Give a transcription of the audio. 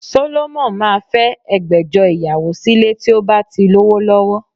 Solomon máa fẹ́ ẹgbẹ̀jọ ìyàwó sílé tí ó bá ti lówó lọ́wọ́